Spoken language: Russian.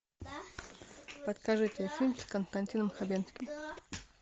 подскажите фильм с константином хабенским